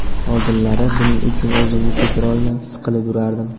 Oldinlari buning uchun o‘zimni kechirolmay, siqilib yurardim.